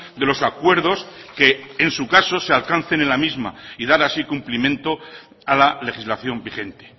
de los acuerdos que en su caso se alcancen en la misma y dar así cumplimiento a la legislación vigente